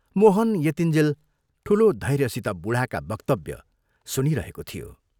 मोहन यतिञ्जेल ठूलो धैर्यसित बूढाका वक्तव्य सुनिरहेको थियो।